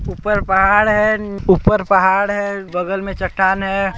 ऊपर पहाड़ है ऊपर पहाड़ है बगल में चट्टान है।